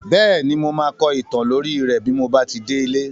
Bẹ́ẹ̀ni, mo máa kọ ìtàn lórí rẹ́ bí mo bá ti délé.